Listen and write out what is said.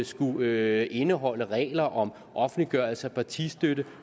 skulle indeholde regler om offentliggørelse af partistøtte